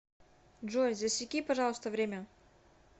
джой засеки пожалуйста время